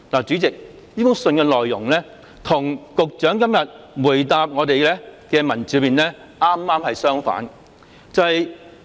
"主席，這封信的內容與局長今天答覆的文本恰恰相反。